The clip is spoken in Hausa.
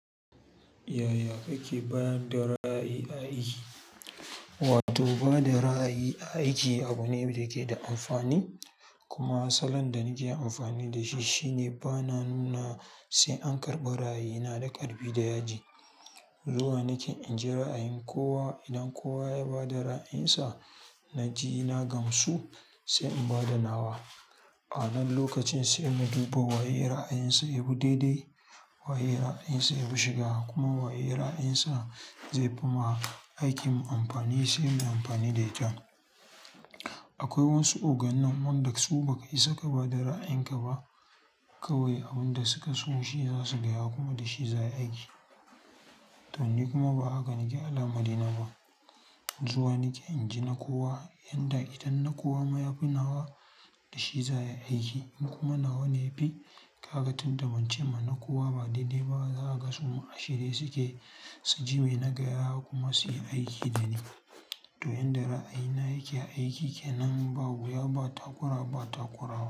Yaya kake bayar da ra'ayi a aiki? Wato ba da ra'ayi a aiki abu ne da yake da amfani. Kuma asalin da nake amfani da shi shine bana nuna sai an karɓi ra'ayina da ƙarfi da yaji. Zuwa nake in jira a yin kowa idan kowa ya ba da ra'ayinsa, na ji ina gamsu sai in ba da nawa. Ama lokacin sai mu duba waye ra'ayinsa ya bi daidai, waye ra'ayinsa ya bi shiga kuma waye ra'ayinsa zai fi ma aikin mu amfani sai mu amfani da ita. Akwai wasu organan wanda su ba ka isa ka ba da ra'ayinka ba kawai abin da suka so shi za su gaya kuma da shi za a yi. To ni kuma ba haka nake alamari na ba. Zuwa nake inji na kowa yanda idan na kowa ma ya fi nawa da shi za ayi aiki. In kuma nawa ne yafi, ka ga tunda bance ma na kowa ba daidai ba za a ga suma ashe dai suke, su ji mai nagaya kuma su yi aikin da ne. To in da ra'ayina yake aiki ke nan ba wuya ba takura ba takurawa.